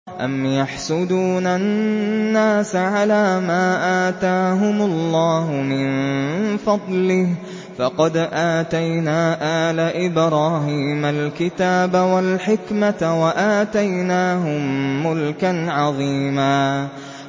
أَمْ يَحْسُدُونَ النَّاسَ عَلَىٰ مَا آتَاهُمُ اللَّهُ مِن فَضْلِهِ ۖ فَقَدْ آتَيْنَا آلَ إِبْرَاهِيمَ الْكِتَابَ وَالْحِكْمَةَ وَآتَيْنَاهُم مُّلْكًا عَظِيمًا